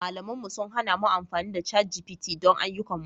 Malaman mu sun hana mu amfani da ChatGPT don ayyukanmu